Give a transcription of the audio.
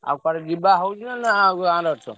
ଆଉ କୁଆଡେ ଯିବା ହଉଛି ନା ଗାଁରେ ଅଛ?